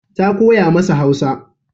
Ta koya masa Hausa.